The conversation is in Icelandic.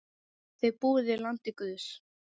Þið búið í landi guðs.